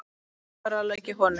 Hvað ráðlegg ég honum?